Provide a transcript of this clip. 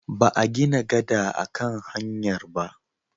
Ba a gina gada a kan hanyar ba.